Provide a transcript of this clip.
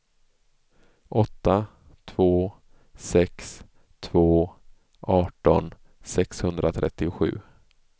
åtta två sex två arton sexhundratrettiosju